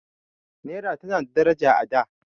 Naira tana da daraja a da.